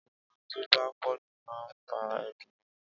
ìrora tó bá pọ̀jù man ńfa ẹ̀dùn ọkàn